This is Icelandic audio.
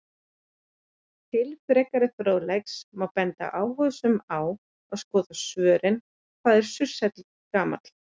Til frekari fróðleiks má benda áhugasömum á að skoða svörin Hvað er Surtshellir gamall?